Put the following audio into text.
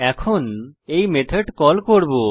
এখন এই method call করব